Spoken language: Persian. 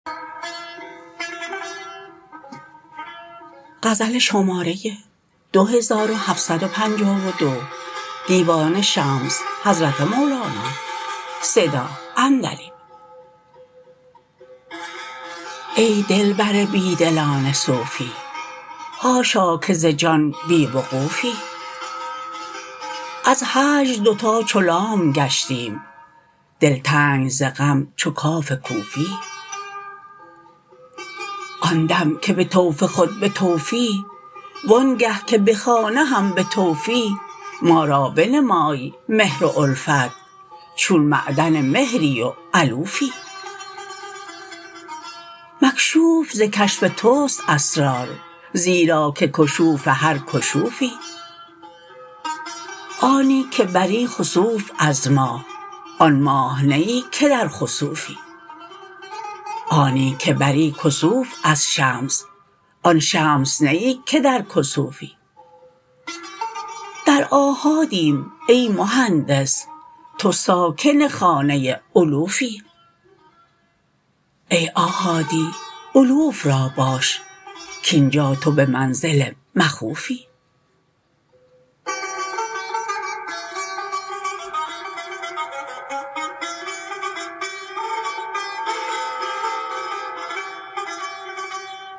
ای دلبر بی دلان صوفی حاشا که ز جان بی وقوفی از هجر دوتا چو لام گشتیم دلتنگ ز غم چو کاف کوفی آن دم که به طوف خود بطوفی وآنگه که به خانه هم به طوفی ما را بنمای مهر و الفت چون معدن مهری و الوفی مکشوف ز کشف توست اسرار زیرا که کشوف هر کشوفی آنی که بری خسوف از ماه آن ماه نه ای که در خسوفی آنی که بری کسوف از شمس آن شمس نه ای که در کسوفی در آحادیم ای مهندس تو ساکن خانه الوفی ای آحادی الوف را باش کاین جا تو به منزل مخوفی